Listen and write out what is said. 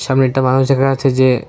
সামনে একটা মানুষ এখানে আছে যে--